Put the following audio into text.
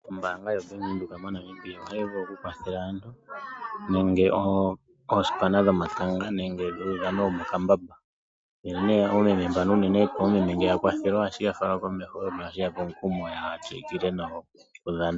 ombanga ya Bank Windhoek mo Namibia ohayi vulu oku kwathele aantu nenge oosipana dhomatanga nenge dhuudhano womokambamba, nge ne omeme mbano uunene nge oya kwathelwa ohashiya fala komeho no hashi yape omukumo ya tsikile nokudhana.